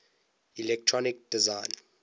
electronic design